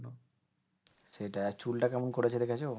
সেটাই আর চুল টা কেমন করেছে দেখেছো?